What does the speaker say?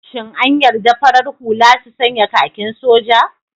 Shin an yarda farar hula su sanya kakin soja?